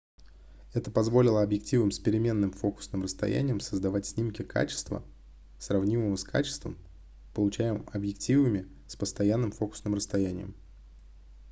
это позволило объективам с переменным фокусным расстоянием создавать снимки качества сравнимого с качеством получаемым объективами с постоянным фокусным расстоянием